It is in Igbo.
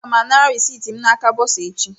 Aga m anara reciiti m n'aka bọsa echi